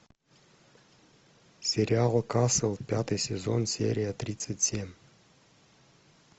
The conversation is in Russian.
сериал касл пятый сезон серия тридцать семь